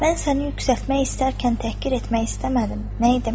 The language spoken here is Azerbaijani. Mən səni yüksəltmək istərkən təhqir etmək istəmədim, nə edim?